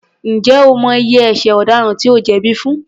Ǹjẹ́ o mọ iye ẹṣẹ̀ ọ̀daràn tí ó jẹ̀bí fún?